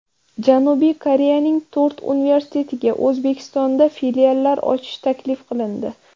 Janubiy Koreyaning to‘rt universitetiga O‘zbekistonda filiallar ochish taklif qilindi.